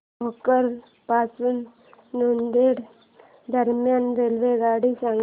भोकर पासून नांदेड दरम्यान रेल्वेगाडी सांगा